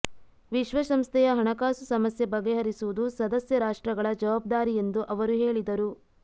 ವಿಶ್ವಸಂಸ್ಥೆಯ ಹಣಕಾಸು ಸಮಸ್ಯೆ ಬಗೆಹರಿಸುವುದು ಸದಸ್ಯ ರಾಷ್ಟ್ರಗಳ ಜವಾಬ್ದಾರಿ ಎಂದು ಅವರು ಹೇಳಿದರು